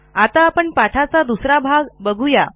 आता आपण पाठाचा दुसरा भाग बघूया